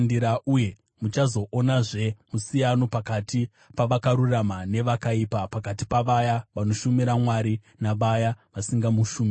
Uye muchaonazve musiyano pakati pavakarurama navakaipa, pakati pavaya vanoshumira Mwari navaya vasingamushumiri.